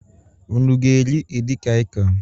Unu ga-eri edikaịkọn?